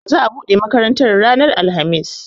Za a buɗe makarantar ranar alhamis